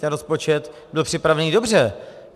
Ten rozpočet byl připravený dobře.